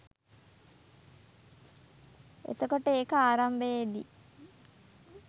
එතකොට ඒක ආරම්භයේදී